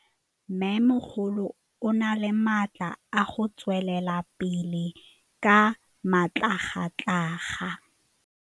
Mmêmogolo o na le matla a go tswelela pele ka matlhagatlhaga.